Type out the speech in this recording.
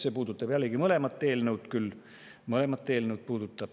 See puudutab küll jällegi mõlemat eelnõu, nii eelmist kui ka seda.